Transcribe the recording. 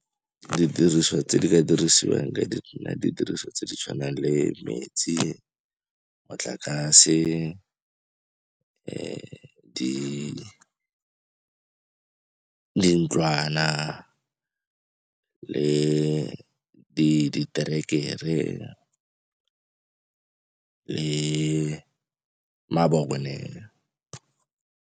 Ditiriso tse di ka dirisiwang ka ditiriso tse di tshwanang le metsi, motlakase, dintlwana le diterekere le mabone.